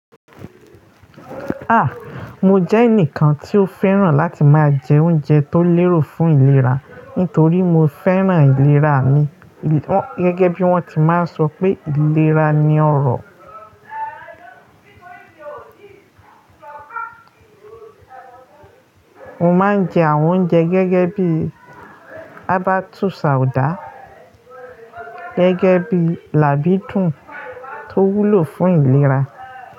Ah! Mo jẹ́ ẹnìkan tí ó fẹ́ràn láti máa jẹ oúnjẹ tó lérò fún ìlera, nítorí mo fẹ́ràn ìlera mi. Gẹ́gẹ́ bí wọ́n ti máa ń sọ pé ìlera ni ọrọ̀. Mo máa ń jẹ àwọn oúnjẹ gẹ́gẹ́ bí àbátusà ọ̀dà, gẹ́gẹ́ bí làbídùn tó wúlò fún ìlera.